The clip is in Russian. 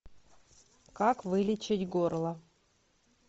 как вылечить горло